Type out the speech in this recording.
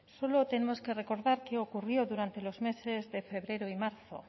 solo tenemos que recordar qué ocurrió durante los meses de febrero y marzo